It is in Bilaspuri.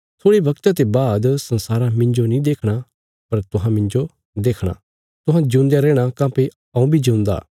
थोड़े बगता ते बाद संसारा मिन्जो नीं देखणा पर तुहां मिन्जो देखणा तुहां जिऊंदेयां रैहणा काँह्भई हऊँ बी जिऊंदा